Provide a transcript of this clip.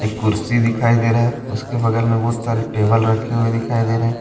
कुर्सी दिखाई दे रहा है उसके बगल में बहुत सारे टेबल रखे हुए दिखाई दे रहे है।